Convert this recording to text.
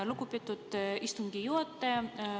Lugupeetud istungi juhataja!